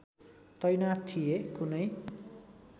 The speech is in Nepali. तैनाथ थिए कुनै